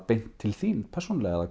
beint til þín persónulega